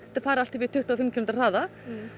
farið allt upp í tuttugu og fimm kílómetra hraða